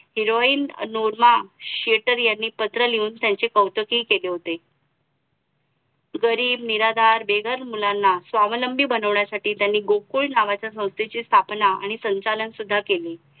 heroin Noorma Shetter यांनी पत्र लिहून त्यांचे कौतुकही केले होते गरीब निराधार बेघर मुलांना स्वावलंबी बनवण्यासाठी त्यांनी गुकुळ नावाच्या स्थापना आणि संचालन सुद्धा केले